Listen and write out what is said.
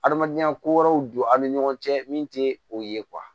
Adamadenya ko wɛrɛw don an ni ɲɔgɔn cɛ min tɛ o ye